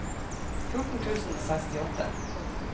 fjorten tusen og sekstiåtte